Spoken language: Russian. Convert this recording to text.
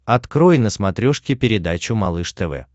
открой на смотрешке передачу малыш тв